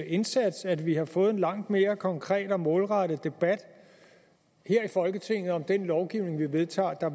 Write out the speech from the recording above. indsats at vi har fået en langt mere konkret og målrettet debat her i folketinget om den lovgivning vi vedtager her